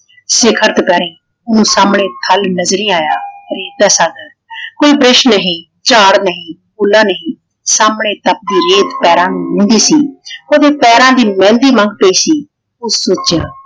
ਸਿਖਰ ਦੁਪਹਿਰੇ ਓਹਨੂੰ ਸਾਹਮਣੇ ਖਾਈ ਨਜਰੀ ਆਇਆ । ਰੇਤ ਦਾ ਸੱਥ ਕੋਈ ਵ੍ਰਿਸ਼ ਨਹੀਂ ਝਾੜ ਨਹੀਂ, ਉੱਲਾ ਨਹੀਂ। ਸਾਹਮਣੇ ਤਪਦੀ ਰੇਤ ਪੈਰਾਂ ਨੂੰ ਮੂੰਹਦੀ ਸੀ ਓਹਦੇ ਪੈਰਾਂ ਦੀ ਮਹਿੰਦੀ ਲੰਘ ਪਈ ਸੀ।